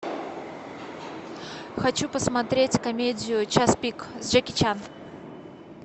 хочу посмотреть комедию час пик с джеки чаном